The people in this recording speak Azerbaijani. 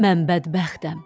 Mən bədbəxtəm.